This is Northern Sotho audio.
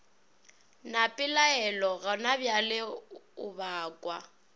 na pelaelo gonabjale o bakwa